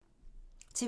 TV 2